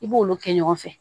I b'olu kɛ ɲɔgɔn fɛ